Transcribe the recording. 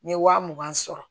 N ye wa mugan sɔrɔ